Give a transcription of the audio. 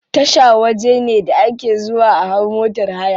Tasha waje ne da ake zuwa a hau motar haya.